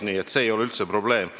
Nii et see ei ole üldse probleem.